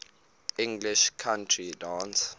english country dance